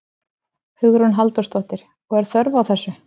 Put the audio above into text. Hugrún Halldórsdóttir: Og er þörf á þessu?